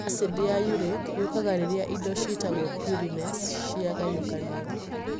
Acidi ya uric yũkaga rĩrĩa indo cĩatagwo purines ciagayũkanio.